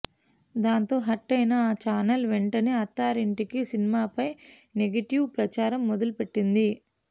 దాంతో హార్ట్ అయిన ఆ ఛానల్ వెంటనే అత్తారింటికి సినిమాపై నేగిటివ్ ప్రచారం మొదలు పెట్టింది